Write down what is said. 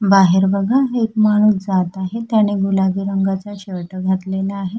बाहेर बघा एक माणूस जात आहे त्याने गुलाबी रंगाचा शर्ट घातलेला आहे.